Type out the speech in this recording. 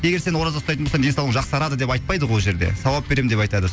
егер сен ораза ұстайтын болсаң денсаулығың жақсарады деп айтпайды ғой ол жерде сауап беремін деп айтады